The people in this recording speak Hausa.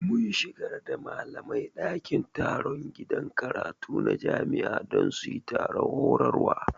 Mun shigar da malamai dakin taron gidan karatu na jami'a don su yi taron horarwa